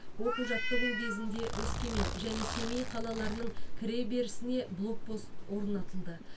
оқу жаттығу кезінде өскемен және семей қалаларының кіреберісіне блокпост орнатылды